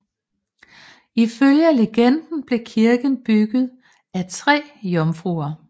Ifølge legenden blev kirken bygget af tre jomfruer